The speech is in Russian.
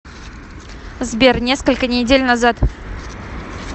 сбер несколько недель назад